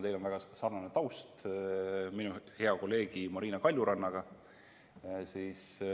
Teil on väga sarnane taust minu hea kolleegi Marina Kaljurannaga.